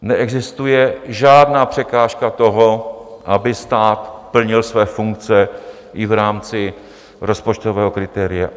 Neexistuje žádná překážka toho, aby stát plnil své funkce i v rámci rozpočtového kritéria.